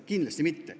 Kindlasti mitte.